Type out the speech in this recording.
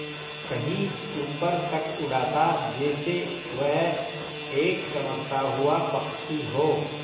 कहीं ऊपर तक उड़ाता जैसे वह एक चमकता हुआ पक्षी हो